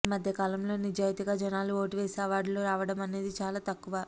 ఈ మధ్య కాలంలో నిజాయతీగా జనాలు ఓటు వేసి అవార్డులు రావడం అనేది చాలా తక్కువ